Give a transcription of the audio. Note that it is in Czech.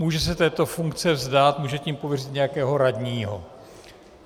Může se této funkce vzdát, může tím pověřit nějakého radního.